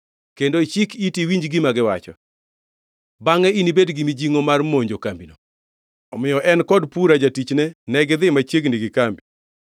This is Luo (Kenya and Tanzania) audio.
kendo ichik iti iwinj gima giwacho. Bangʼe, inibed gi mijingʼo mar monjo kambino.” Omiyo en kod Pura jatichne negidhi machiegni gi kambi.